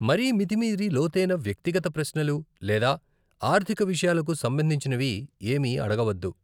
మరీ మితిమీరి లోతైన వ్యక్తిగత ప్రశ్నలు లేదా ఆర్థిక విషయాలకు సంబంధించినవి ఏమీ అడగవద్దు.